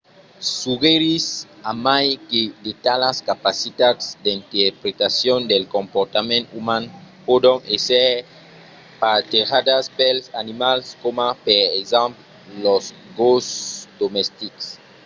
suggerís a mai que de talas capacitats d’interpretacion del comportament uman pòdon èsser partejadas pels animals coma per exemple los gosses domestics